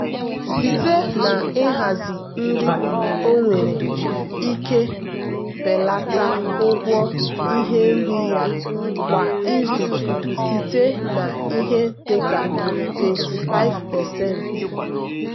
site na ịhazi nri ọ nwere ike belata ụgwọ ihe nri ya kwa izu site na ihe dịka 25%.